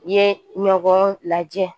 Ye ɲɔgɔn lajɛ